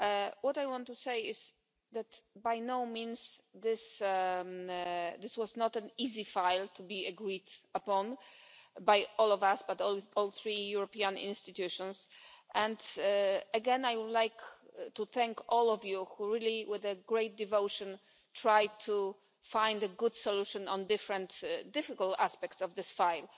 What I want to say is that by no means was this an easy file to be agreed upon by all of us, by all three European institutions, and again, I would like to thank all of you who really, with great devotion, tried to find a good solution to different, difficult aspects of this file.